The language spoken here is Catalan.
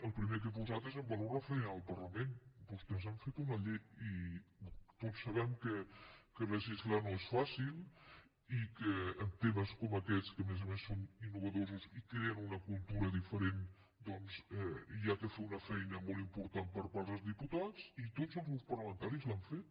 el primer que he posat és en valor la feina del parlament vostès han fet una llei i tots sabem que legislar no és fàcil i que en temes com aquests que a més a més són innovadors i creen una cultura diferent doncs cal fer una feina molt important per part dels diputats i tots els grups parlamentaris l’han feta